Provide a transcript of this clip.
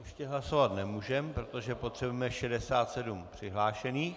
Ještě hlasovat nemůžeme, protože potřebujeme 67 přihlášených.